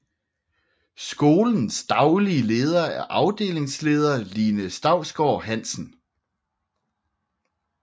Skolens daglige leder er afdelingsleder Line Stausgaard Hansen